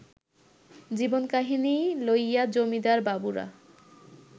জীবনকাহিনী লইয়া-জমিদার বাবুরা